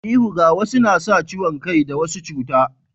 Ihu ga wasu na sa ciwon kai da wasu cuta